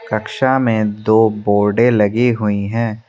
कक्षा में दो बोर्डे लगी हुई है।